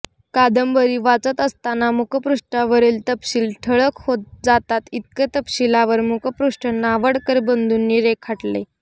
कादंबरी वाचत असताना मुखपृष्ठावरील तपशील ठळक होत जातात इतकं तपशीलवार मुखपृष्ठ नावडकर बंधूंनी रेखाटलय